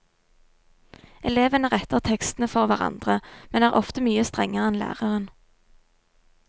Elevene retter tekstene for hverandre, men er ofte mye strengere enn læreren.